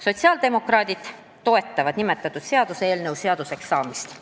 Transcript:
Sotsiaaldemokraadid toetavad nimetatud seaduseelnõu seaduseks saamist.